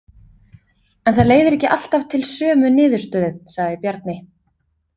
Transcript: En það leiðir ekki alltaf til sömu niðurstöðu, sagði Bjarni.